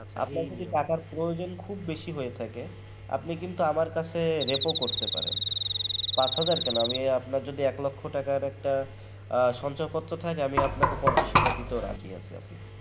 আপনার যদি টাকার প্রয়োজন খুব বেশি হয়ে থাকে আপনি কিন্তু আমার কাছে Repo করতে পারেন পাঁচ হাজার কেন আমি আপনার যদি এক লক্ষ টাকার একটা সঞ্চয় পত্র থাকে আমি আপনাকে পঞ্চাশ হাজার দিতেও রাজি আছি